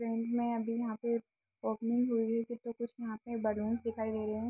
Friend मे अभी यहाँ पे ओपनिंग हुई है कुछ न कुछ यहाँ पे बल्लूंस दिखाई दे रहे हैं।